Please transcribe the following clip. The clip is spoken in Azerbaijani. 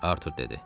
Artur dedi.